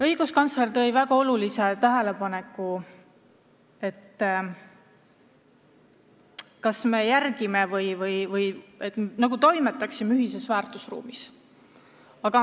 Õiguskantsler tegi väga olulise tähelepaneku, et kas me ikka toimetame ühises väärtusruumis.